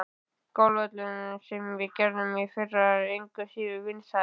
Golfvöllurinn, sem við gerðum í fyrra, er engu síður vinsæll.